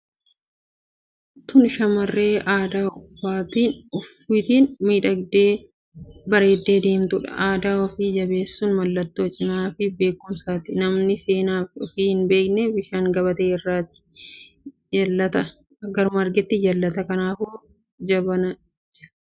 Tun shamarree aadaa ufiitiin miidhagdee bareedde deemtudha. Aadaa ufii jabeessun mallatoo cimina fi beekkumsaati. Namani seenaa ufii hin beeknee bishaan gabatee irraati garuma argetti jallata. Kanaafuu jabadhati aadaa keessan guddisa jenna.